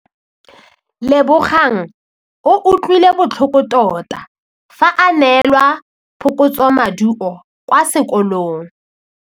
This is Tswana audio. Lebogang o utlwile botlhoko tota fa a neelwa phokotsômaduô kwa sekolong.